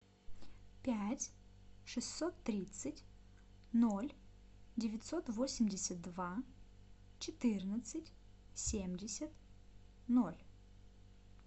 пять шестьсот тридцать ноль девятьсот восемьдесят два четырнадцать семьдесят ноль